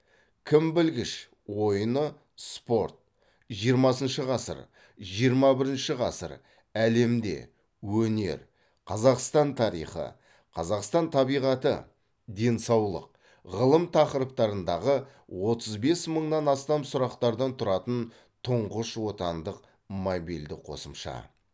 кім білгіш ойыны спорт жиырмасыншы ғасыр жиырма бірінші ғасыр әлемде өнер қазақстан тарихы қазақстан табиғаты денсаулық ғылым тақырыптарындағы отыз бес мыңнан астам сұрақтардан тұратын тұңғыш отандық мобильді қосымша